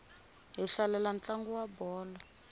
hi hlalela ntlangu wa bolo